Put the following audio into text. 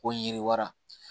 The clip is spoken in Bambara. Ko yiriwara